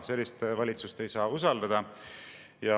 Sellist valitsust ei saa usaldada.